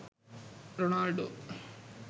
ronaldo